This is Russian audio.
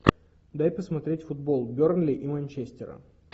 дай посмотреть футбол бернли и манчестера